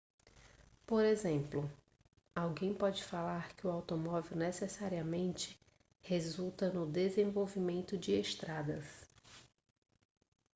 por exemplo alguém pode falar que o automóvel necessariamente resulta no desenvolvimento de estradas